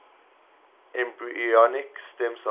embryonic stem cells